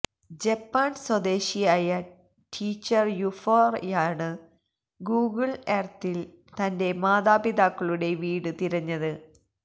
ജപ്പാന് സ്വദേശിയായ ടീച്ചര് യുഫോയാണ് ഗൂഗിള് എര്ത്തില് തന്റെ മാതാപിതാക്കളുടെ വീട് തിരഞ്ഞത്